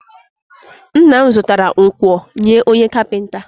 Nna m zụtara nkwọ nye onye kapịnta